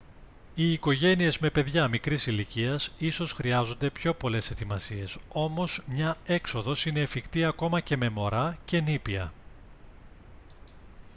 οι οικογένειες με παιδιά μικρής ηλικίας ίσως χρειάζονται πιο πολλές ετοιμασίες όμως μια έξοδος είναι εφικτή ακόμα και με μωρά και νήπια